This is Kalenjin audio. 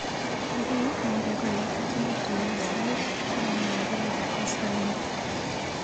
Kaikai inde kole atinye tuiyet sait tamn ak agenge koskoliny.